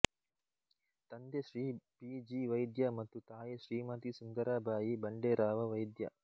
ತಂದೆ Shri B G Vaidya ಮತ್ತು ತಾಯಿ ಶ್ರೀಮತಿ ಸುಂದರಾಬಾಯಿ ಬಂಡೇರಾವ ವೈದ್ಯ